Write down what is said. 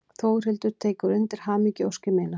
Þórhildur tekur undir hamingjuóskir mínar.